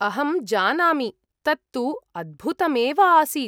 अहं जानामि, तत्तु अद्भुतमेव आसीत्।